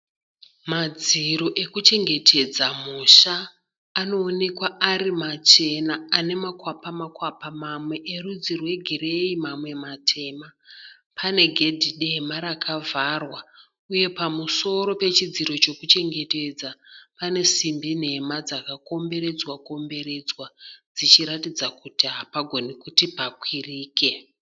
Madziro ekuchengetedza musha anoonekwa ari machena ane makwapa makwapa. Mamwe erudzi rwegireyi mamwe matema. Pane gedhi dema rakavharwa uye pamusoro pechidziro chekuchengetedza pane simbi nhema dzakakomberedzwa komberedzwa dzichiratidza kuti hapagoni kuti pakwirike.